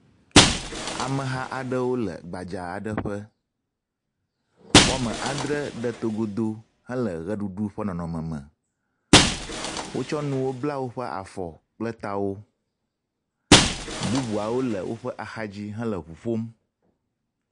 Ameha aɖewo le gbadza aɖe ƒe. wɔme andre ɖe togodo hele ʋeɖuɖu ƒe nɔnɔme me. Wotsɔ nuwo bla woƒe afɔ kple tawo. Bubuawo le woƒe axadzi hele ŋu ƒom.